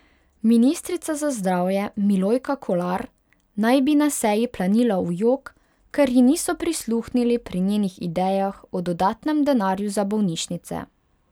Ministrica za zdravje Milojka Kolar naj bi na seji planila v jok, ker ji niso prisluhnili pri njenih idejah o dodatnem denarju za bolnišnice.